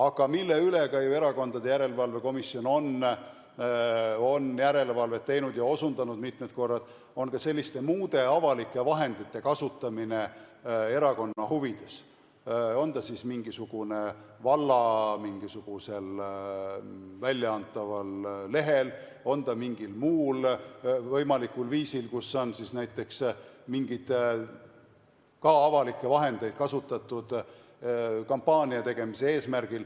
Aga Erakondade Rahastamise Järelevalve Komisjon on järelevalvet teinud ja osundanud mitmel korral ka muude avalike vahendite kasutamisele erakonna huvides, on ta siis mingisugusel valla väljaantaval lehel või mingil muul võimalikul viisil, kus on näiteks mingeid avalikke vahendeid kasutatud kampaania tegemise eesmärgil.